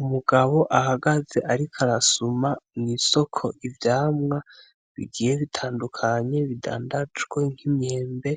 Umugabo ahagaze ariko arasuma mw'isoko ivyamwa bigoye bitandukanye, bidandajwe nk'imyembe,